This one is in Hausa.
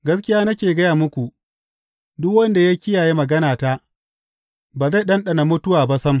Gaskiya nake gaya muku, duk wanda ya kiyaye maganata, ba zai ɗanɗana mutuwa ba sam.